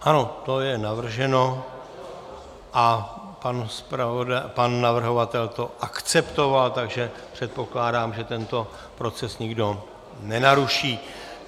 Ano, to je navrženo a pan navrhovatel to akceptoval, takže předpokládám, že tento proces nikdo nenaruší.